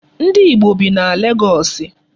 Ndi Igbo bi na Legọọsị.